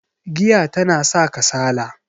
giya tana sa kasala